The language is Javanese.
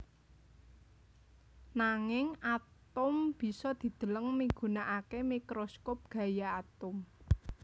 Nanging atom bisa dideleng migunakaké mikroskop gaya atom